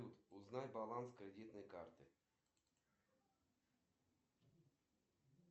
как достичь температуры меньше абсолютного нуля и что это вообще значит